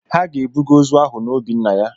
Ha ga-ebuga ozu ahụ na obi nna ya.